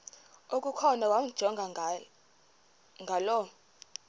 okukhona wamjongay ngaloo